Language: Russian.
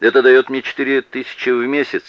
это даёт четыре тысячи в месяц